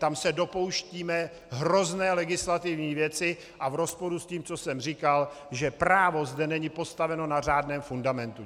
Tam se dopouštíme hrozné legislativní věci a v rozporu s tím, co jsem říkal, že právo zde není postaveno na řádném fundamentu.